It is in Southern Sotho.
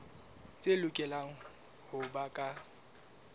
tse lokelang ho ba ka